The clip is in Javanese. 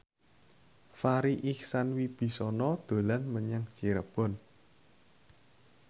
Farri Icksan Wibisana dolan menyang Cirebon